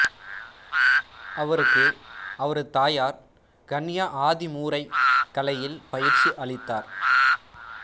அவருக்கு அவரது தாயார் கன்யா ஆதிமூரைக் கலையில் பயிற்சி அளித்தார்